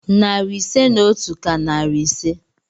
Narị ise na otu ka narị ise.